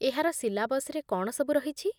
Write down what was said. ଏହାର ସିଲାବସ୍‌ରେ କ'ଣ ସବୁ ରହିଛି?